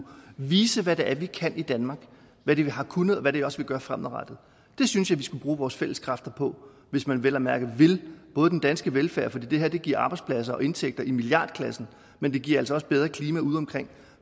vise hvad vi kan i danmark hvad vi har kunnet og hvad vi også vil gøre fremadrettet det synes jeg vi skulle bruge vores fælles kræfter på hvis man vel at mærke vil den danske velfærd for det her giver arbejdspladser og indtægter i milliardklassen men det giver altså også bedre klima udeomkring